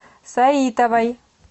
саитовой